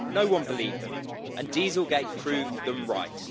No one believed them, and dieselgate' proved them right.